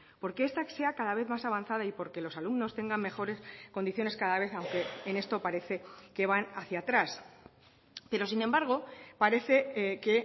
porque esta sea cada vez más avanzada y porque los alumnos tengan mejores condiciones cada vez aunque en esto parece que van hacia atrás pero sin embargo parece que